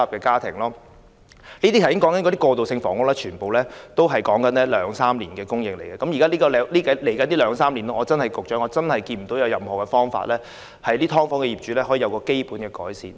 剛才提及的過渡性房屋供應，其實要花兩三年方可成事，而在未來的兩三年內，我看不到有任何方法可讓"劏房"租戶的生活得到基本改善。